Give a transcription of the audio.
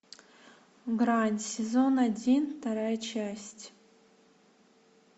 грань сезон один вторая часть